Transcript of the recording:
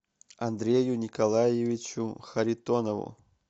андрею николаевичу харитонову